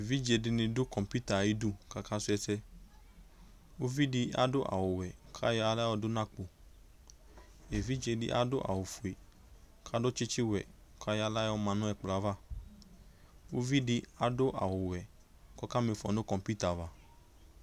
ɛvidzɛ dini dʋcomputer ayidʋ kʋ aka srɔ ɛsɛ, ʋvidiadʋ awʋ wɛ kʋ ayɔ ala yɔdʋnʋ akpɔ, ɛvidzɛ di adʋ awʋ ƒʋɛ kʋ adʋ tsitsi wɛ kʋ ayɔ ala yɔma nʋ ɛkplɔɛ aɣa, ʋvidi adʋ awʋ wɛ kʋ ɔka miƒɔ nʋbcomputer aɣa